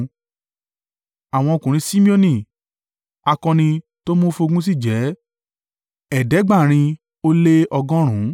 Àwọn ọkùnrin Simeoni, akọni tó mú fún ogun sì jẹ́ ẹ̀ẹ́dẹ́gbàárin ó lé ọgọ́rùn-ún (7,100);